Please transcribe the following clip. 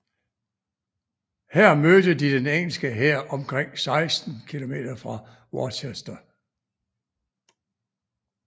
Her mødte de den engelske hær omkring 16 km fra Worcester